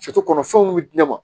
kɔnɔ fɛnw bɛ di ne ma